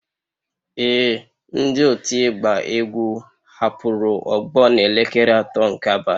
Ee, ndị otu ịgba egwu hapụrụ ogbo n'elekere atọ nke abalị